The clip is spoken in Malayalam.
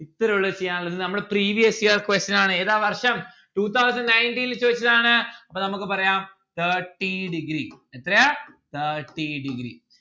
ഇത്രയുള്ളു ചെയ്യാൻ ഉള്ളത് ഇത് നമ്മളെ previous year question ആണ് ഏതാ വർഷം two thousand nineteen ല് ചോയിച്ചതാണ് അപ്പൊ നമ്മുക്ക് പറയാം thirty degree എത്രയാ thirty degree